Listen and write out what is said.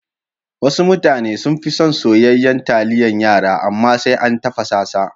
Wasu mutane sunfi son soyayyan taliyan yara, amma sai an tafasa sa.